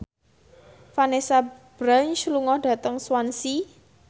Vanessa Branch lunga dhateng Swansea